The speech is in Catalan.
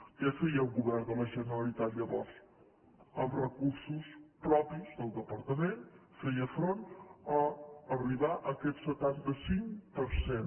què feia el govern de la generalitat llavors amb recursos propis del departament feia front a arribar a aquest setanta cinc per cent